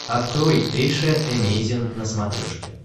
открой эйша эмейзин на смотрешке